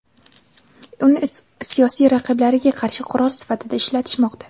uni siyosiy raqiblariga qarshi qurol sifatida ishlatishmoqda.